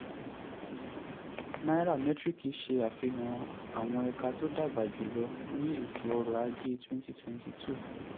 nairametrics ṣàfihàn àwọn ẹ̀ka tó dàgbà jù lọ ní ètò ọrọ̀ ajé twenty twenty two.